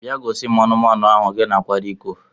Bia gosim anụmanu ahụ gi na kwara iko!